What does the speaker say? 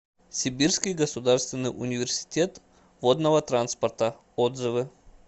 сибирский государственный университет водного транспорта отзывы